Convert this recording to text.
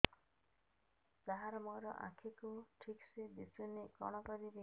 ସାର ମୋର ଆଖି କୁ ଠିକସେ ଦିଶୁନି କଣ କରିବି